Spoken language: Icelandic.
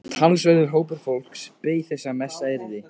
Talsverður hópur fólks beið þess að messað yrði.